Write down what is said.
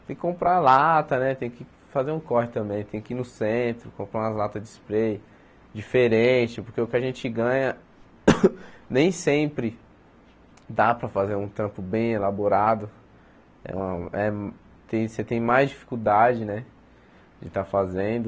tem que comprar lata né, tem que fazer um corte também, tem que ir no centro, comprar umas latas de spray diferentes, porque o que a gente ganha nem sempre dá para fazer um tampo bem elaborado, é uma é você tem mais dificuldade né de estar fazendo.